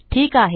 ठीक आहे